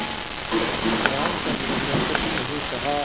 रामचंद्र ने कुछ नहीं कहा